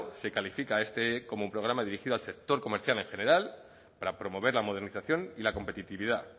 se califica este como programa dirigido al sector comercial en general para promover la modernización y la competitividad